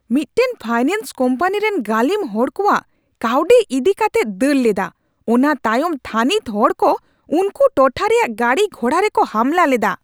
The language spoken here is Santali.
ᱢᱤᱫᱴᱟᱝ ᱯᱷᱟᱭᱱᱮᱱᱥ ᱠᱳᱢᱯᱟᱱᱤ ᱨᱮᱱ ᱜᱟᱹᱞᱤᱢ ᱦᱚᱲ ᱠᱚᱣᱟᱜ ᱠᱟᱣᱰᱤ ᱤᱫᱤ ᱠᱟᱛᱮᱫ ᱫᱟᱹᱲ ᱞᱮᱫᱟ, ᱚᱱᱟ ᱛᱟᱭᱚᱢ ᱛᱷᱟᱹᱱᱤᱛ ᱦᱚᱲ ᱠᱚ ᱩᱱᱠᱩ ᱴᱚᱴᱷᱟ ᱨᱮᱭᱟᱜ ᱜᱟᱹᱰᱤ ᱜᱷᱚᱲᱟ ᱨᱮᱠᱚ ᱦᱟᱢᱞᱟ ᱞᱮᱫᱟ ᱾